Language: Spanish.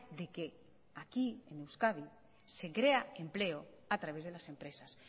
de que aquí en euskadi se crea empleo a través de las empresas